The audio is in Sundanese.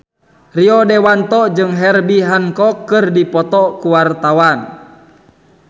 Rio Dewanto jeung Herbie Hancock keur dipoto ku wartawan